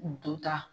Duta